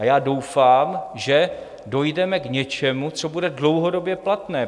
A já doufám, že dojdeme k něčemu, co bude dlouhodobě platné...